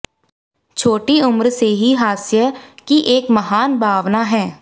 छोटी उम्र से ही हास्य की एक महान भावना है